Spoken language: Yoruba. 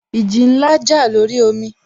Ìjì ńlá jà lórí omi